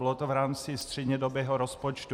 Bylo to v rámci střednědobého rozpočtu.